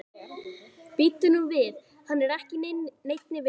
Bíddu nú við, hann er ekki í neinni vinnu?